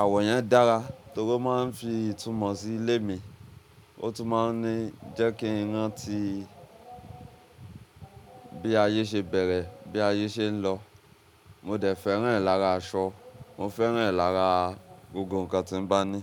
Àwọ̀ yẹn dára torí ó máa n fi ìtumọ̀ sí ilé mi. Ó tún máa n ní jẹ́ kí n rántí bí ayé ṣe bẹ̀rẹ̀, bí ayé ṣe ń lọ. Mo dẹ̀ fẹ́ràn rẹ̀ lára aṣọ, mo fẹ́ràn rẹ̀ lára gbogbo nǹkan tí mo bá ní.